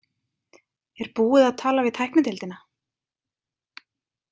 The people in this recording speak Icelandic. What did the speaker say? Er búið að tala við tæknideildina?